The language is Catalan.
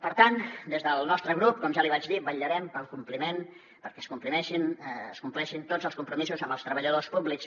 per tant des del nostre grup com ja li vaig dir vetllarem pel compliment perquè es compleixin tots els compromisos amb els treballadors públics